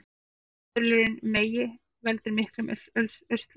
Fellibylurinn Megi veldur miklum usla